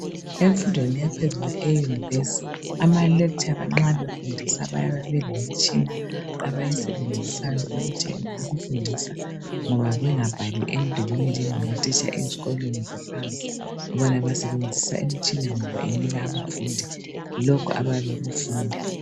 Emfundweni yaphezulu eyunivesithi amalekitshara nxa efundisa ayabe elemitshina abayisebenzisayo ukufundisa ngoba bengabhali emdulini njengamatitsha ezikolweni zaphansi. Bona basebenzisa imitshina ngoba inika abafundi lokho abayabe bekufunda.